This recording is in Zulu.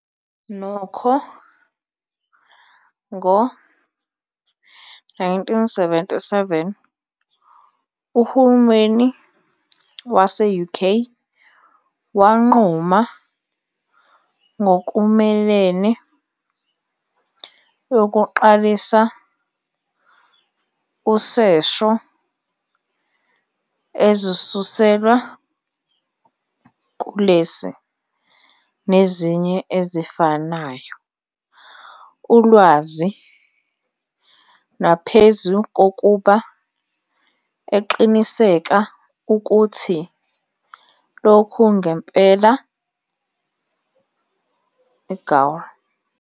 Nokho, ngo-1977, uhulumeni UK wanquma ngokumelene yokuqalisa usesho ezisuselwa kulesi, nezinye ezifanayo, ulwazi, naphezu kokuba eqiniseka ukuthi lokhu ngempela "eGaul.